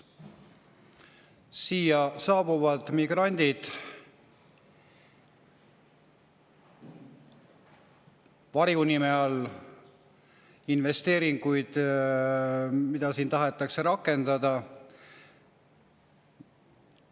Siia saabuvad migrandid, varjunime all investeeringud, mida siin tahetakse rakendada.